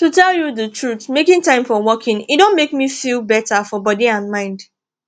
to tell you the truth making time for walking e don make me feel better for body and mind